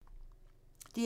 DR1